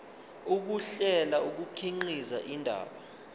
ukuhlela kukhiqiza indaba